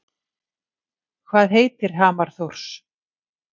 Hvað heitir hamar Þórs?